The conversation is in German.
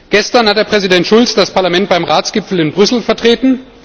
Gestern hat Präsident Schulz das Parlament beim Ratsgipfel in Brüssel vertreten.